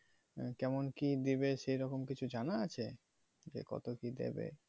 কেমন কি দেবে সেরকম কিছু জানা আছে? যে কত কি দেবে